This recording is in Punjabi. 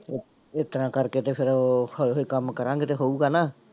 ਇਸ ਤਰ੍ਹਾਂ ਕਰਕੇ ਤੇ ਫਿਰ ਉਹ ਹੌਲੀ ਹੌਲੀ ਕੰਮ ਕਰਾਂਗੇ ਤੇ ਹੋਊਗਾ ਨਾ।